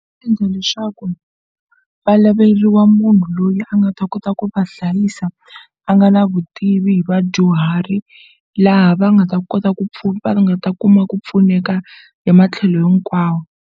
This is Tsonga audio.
Endla leswaku va laveliwa munhu loyi a nga ta kota ku va hlayisa a nga na vutivi hi vadyuhari laha va nga ta kota ku va nga ta kuma ku pfuneka hi matlhelo hikwawo.